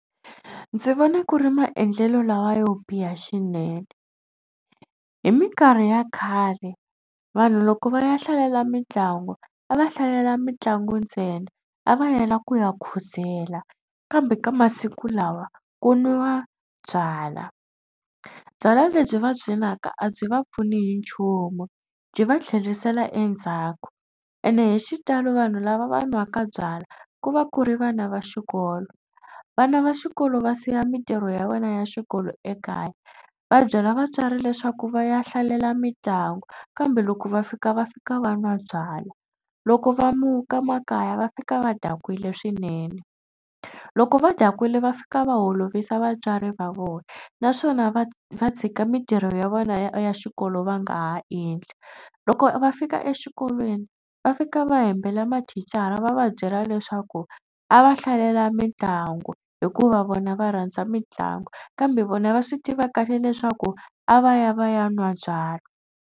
Ndzi vona ku ri maendlelo lawa yo biha xinene hi mikarhi ya khale vanhu loko va ya hlalela mitlangu a va hlalela mitlangu ntsena a va yela ku ya khuzela kambe ka masiku lawa ku nwiwa byalwa. Byalwa lebyi va byi nwaka a byi va pfuni hi nchumu byi va tlherisela endzhaku ene hi xitalo vanhu lava va nwaka byalwa ku va ku ri vana va xikolo. Vana va xikolo va siya mitirho ya wena ya xikolo ekaya va byela vatswari leswaku va ya hlalela mitlangu kambe loko va fika va fika va nwa byalwa. Loko va muka makaya va fika va dakwile swinene. Loko va dakwile va fika va olovisa vatswari va vona naswona va va tshika mitirho ya vona ya xikolo va nga ha endli. Loko va fika exikolweni va fika va hembela mathicara va va byela leswaku a va hlalela mitlangu hikuva vona va rhandza mitlangu kambe vona va swi tiva kahle leswaku a va ya va ya nwa byalwa.